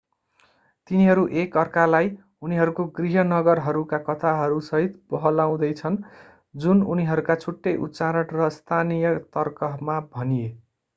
तिनीहरू एक अर्कालाई उनीहरूको गृह नगरहरूका कथाहरूसहित बहलाउँदै छन् जुन उनीहरूका छुट्टै उच्चारण र स्थानीय तर्कमा भनिए